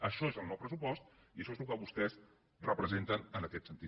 això és el nou pressupost i això és el que vostès representen en aquest sentit